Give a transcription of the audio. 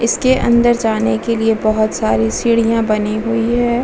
वहाँ हैं जहाँ यहाँ एक मैदान हैनीचे इसके अंदर जाने के लिए बहुत सारी सीढ़ियाँ बनी हुई हैं ।